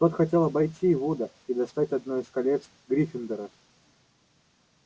тот хотел обойти вуда и достать одно из колец гриффиндора